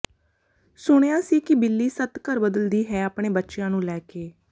ਸੁਣਿਆ ਸੀ ਕਿ ਬਿੱਲੀ ਸੱਤ ਘਰ ਬਦਲਦੀ ਹੈ ਆਪਣੇ ਬੱਚਿਆਂ ਨੂੰ ਲੈ ਕੇ